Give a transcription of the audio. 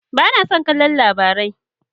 Ba na son kallon Labarai.